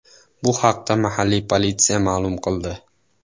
Bu haqda mahalliy politsiya ma’lum qildi .